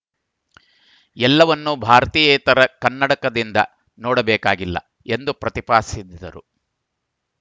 ಎಲ್ಲವನ್ನೂ ಭಾರತೀಯೇತರ ಕನ್ನಡಕದಿಂದ ನೋಡಬೇಕಾಗಿಲ್ಲ ಎಂದು ಪ್ರತಿಪಾದಿಸಿದ್ದರು